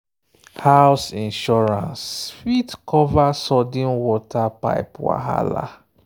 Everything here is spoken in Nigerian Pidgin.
house insurance fit cover sudden water pipe wahala. um